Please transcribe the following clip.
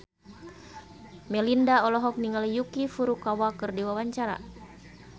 Melinda olohok ningali Yuki Furukawa keur diwawancara